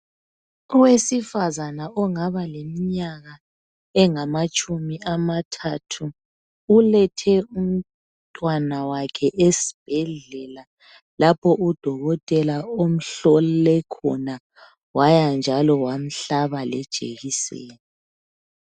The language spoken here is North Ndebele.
Owesifazana ongaba leminya engamatshumi amathathu ulethe umntwana wakhe esibhedlela lapho udokotela omhlole khona waya njalo wamhlaba lejekiseni